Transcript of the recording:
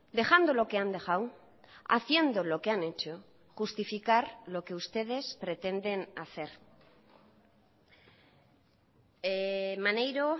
dejando lo que han dejado haciendo lo que han hecho justificar lo que ustedes pretenden hacer maneiro